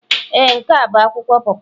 Ee, n'ke a bu akwụkwọ po po.